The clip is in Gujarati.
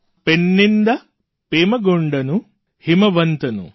પૈણ્ણિન્દા પેર્મેગોંડનૂ હિમવંતનુ